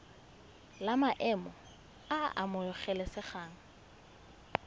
la maemo a a amogelesegang